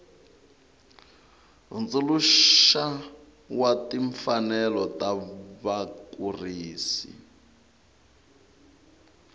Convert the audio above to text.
hundzuluxa wa timfanelo ta vakurisi